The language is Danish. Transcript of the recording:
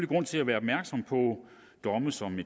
grund til at være opmærksom på domme som